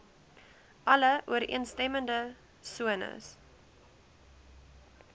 alle ooreenstemmende sones